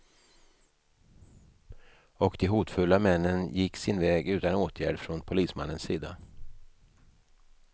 Och de hotfulla männen gick sin väg utan åtgärd från polismannens sida.